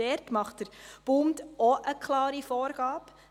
Dort macht der Bund auch eine klare Vorgabe.